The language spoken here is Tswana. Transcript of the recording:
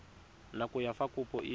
nako ya fa kopo e